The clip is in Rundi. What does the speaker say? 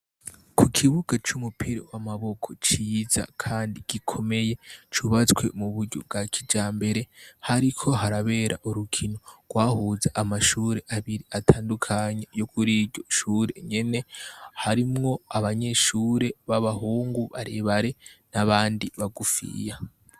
Ku kibuga c'umupira w'amaboko ciza kandi gikomeye, cubatswe mu buryo bwa kijambere, hariko harabera urukino rwahuza amashure abiri atandukanye yo kuri iryo shure nyene. Harimwo abanyeshure b'abahungu barebare n'abandi bagufiya.